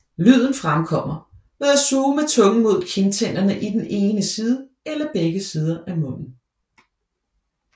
Lyden fremkommer ved at suge med tungen mod kindtænderne i den ene side eller begge sider af munden